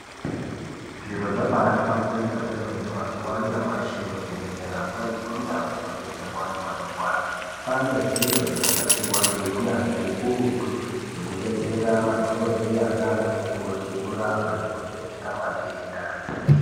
Zviro zvaba hlamburika kwemene mazuwa anyamashi muzvibhedhlera mwo nemundau dzinobetserwa antu anorwara. Kwanezviro zvakanasirwa ngeunyanzvi hukurutu nekubetsera madhokodheya nanamukoti kurapa nekuvheneka matenda.